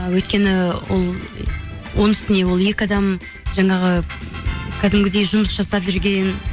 ы өйткені ол оның үстіне ол екі адам жаңағы кәдімгідей жұмыс жасап жүрген